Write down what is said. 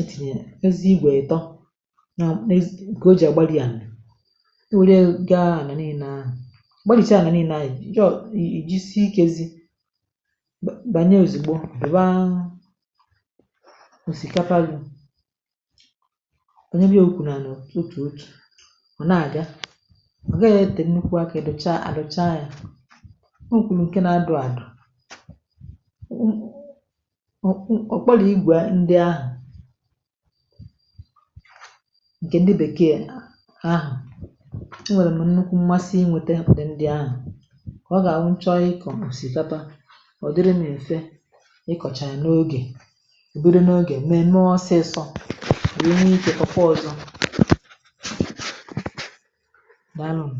e tìnyè eze igwè ètọ kà o jì àgbarịa ànà o nwèle gaa àna niile a gbarìcha àna niile a, iji̇ jisi ikėzi̇bànyè ozigbo piwa ọsìkapa gị lùnyewe ukwu nà ana òtù otú ọ nà àga ọ gaghị e tèe nnukwu akȧ edochaa àdòcha ya. o kwùlù ǹke na-adọ àdọ̀ ọ ọ̀ kpolo igwe ndị ahụ̀ ǹkè ndị bèkeè ahụ̀ e nwèrè mụ̀ nnukwu mmasị inwėtė ụ̀dị ndị ahụ̀ kà ọ gà-àhụ nchọ i kọ̀gasị ọsìkapa ọ̀ dịrị m èfe ị kocha ya n’oge bụrụ n'oge mm̀ẹ̀ mẹ ọsịsọ wee nwee ike kọkwa ọ̀zọ dàalụnu.